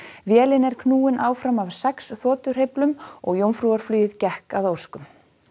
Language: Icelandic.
vélin er knúin áfram af sex og gekk að óskum